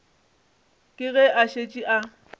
ke ge e šetše e